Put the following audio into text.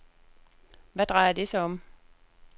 Hvad drejer det sig om?